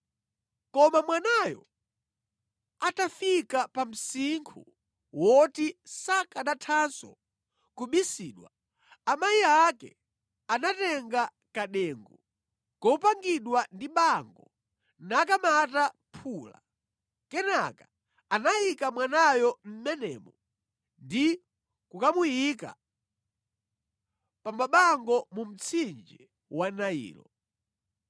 Koma mwanayo atafika pa msinkhu woti sakanathanso kubisidwa, amayi ake anatenga kadengu kopangidwa ndi bango nakamata phula. Kenaka anayika mwanayo mʼmenemo ndi kukamuyika pa mabango mu mtsinje wa Nailo.